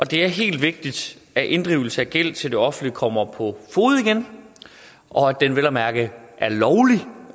det er helt vigtigt at inddrivelse af gæld til det offentlige kommer på fode igen og at den vel at mærke